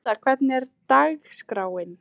Munda, hvernig er dagskráin?